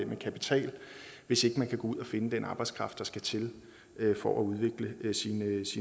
med kapital hvis ikke man kan gå ud og finde den arbejdskraft der skal til for at udvikle ens